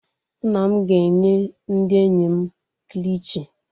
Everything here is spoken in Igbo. Nna m ga-enye ndị enyi m kilichi.